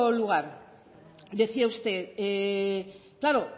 lugar decía usted claro